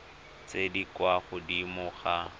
tse di kwa godimo ga